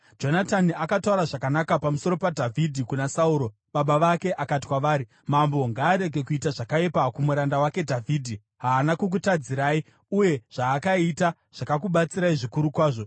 Jonatani akataura zvakanaka pamusoro paDhavhidhi kuna Sauro baba vake akati kwavari, “Mambo ngaarege kuita zvakaipa kumuranda wake Dhavhidhi; haana kukutadzirai, uye zvaakaita zvakakubatsirai zvikuru kwazvo.